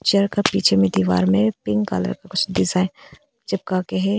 Picture का पीछे में दीवार में पिंक कलर कुछ डिजाइन चिपका के है।